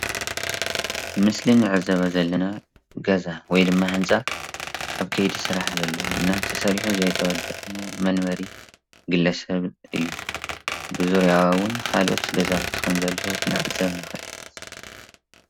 እዚ ምስሊ እንሪኦ ዘለና ገዛ ወይ ከዓ ህንፃ ኣብ ከይዲ ስራሕ ተሰሪሑ ዘይተወደአ ገዛ ወይ ከዓ መንበሪ እዩ ብዙርያው እውን ካለኦት ገዛውቲ ከም ዘለው ክንዕዘብ ንክእል ኢና፡፡